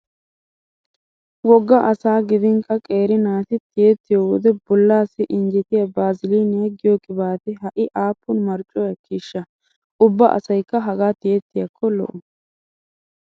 Wogga asaa gidinkka qeeri naati tiyettiyo wode bollaassi injjetiya baaziliiniya giyo qibaatee ha"i aappun marccuwa ekkiishsha! Ubba asaykka hagaa tiyettiyakko lo'o.